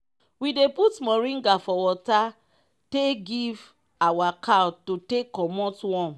we dey put moringa for water tey give awa cow to take commot worm.